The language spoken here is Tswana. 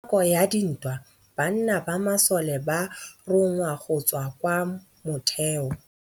Ka nakô ya dintwa banna ba masole ba rongwa go tswa kwa mothêô.